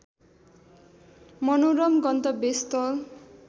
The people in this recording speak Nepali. मनोरम गन्तव्यस्थल